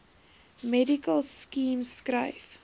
medical scheme skryf